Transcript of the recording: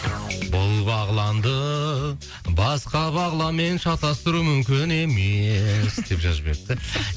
бұл бағланды басқа бағланмен шатастыру мүмкін емес деп жазып жіберіпті